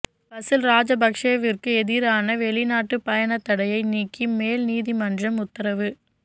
பசில் ராஜபக்ஷவிற்கு எதிரான வெளிநாட்டு பயணத்தடையை நீக்கி மேல் நீதிமன்றம் உத்தரவு